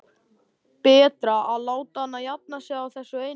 Betra að láta hana jafna sig á þessu eina.